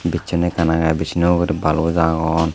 bischon ekkan aage bischono uguri baloj agon.